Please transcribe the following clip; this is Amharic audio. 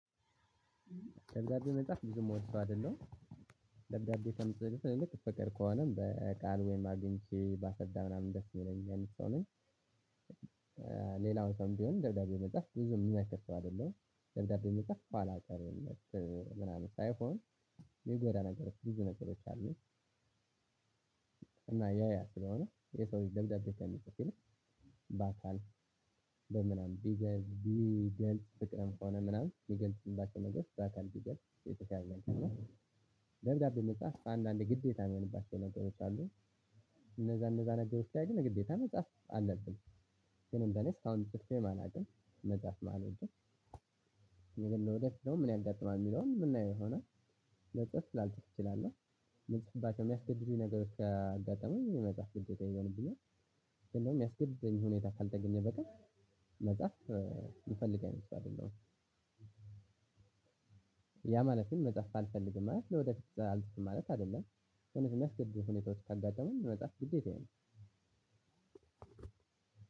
ደብዳቤ መጽሐፍ ብዙ ምወድ ሰው አይደለም ደብዳቤ ከምፅፍ ይልቅ ፍቅር ከሆነም በቃል ወይም አግኝቼ ባሰረዳ ምናምን ደስ የሚለኝ ሰው ነኝ። ሌላውን ሰውም ቢሆን ደብዳቤ መጽሐፍ ብዙም የምመክር ሰው አይደለሁም ደብዳቤ መጽሐፍ ኋላ ቀርነት ምናምን ሳይሆን የሚጎዳ ነገሮች ብዙ ነገሮች አሉ። እና ያ ያ ስለሆነ የሰው ደብዳቤ ከሚፅፍ ይልቅ በአካል በምናምን ቢገልጽ ቢገልጽ ፍቅርን ሆነ ምናምን ቢገልጽ እንዳልከው ነገር በአካል የተሻለ ነገር ነው። ደብዳቤ መሳፍ ከአንዳንዴ ግዴታ የሚሆንባቸው ነገሮች አሉ። እነደዛ እንደዛ ነገሮች ግን ግዴታ መጽሐፍ አለብን። ግን እንደኔ እስካሁን ፅፌም አላውቅም መጻፍም አልወድም። ለወደፊት ደግሞ ምን ያጋጥማል የሚለውን የምናየው የሆነል ለፅፍ ላልፅፍ እችላለው። ልጽፍባቸው ከሚያስገድዱኝ ነገር ካጋጠመኝ መጻፍ ግዴታ ይሆንብኛል። ስለሆነ የሚያስገድደኝ ሁኔታ ካልተገኘ በቀር መጽሐፍ የምፈልግ አይነት ሰው አይደለሁም። ያ ማለትም መጽሐፍ አልፈልግም ማለት ለወደፊት አልፈልግም ማለት አይደለም። ሁኔታዎች ካጋጠሙኝ መጻፍ ግዴታዬ ነው።